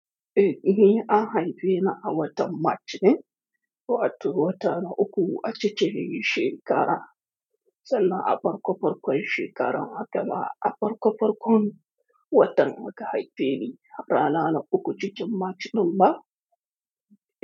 Eh, ni an haife ni a watan March ne, wato wata na uku a cikin iyi shekara, sannan a farko farkon shekarar haka ma a farko farkon watan muka haife ni rana na uku, cikin March ɗin ba?